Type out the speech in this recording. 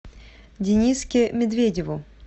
дениске медведеву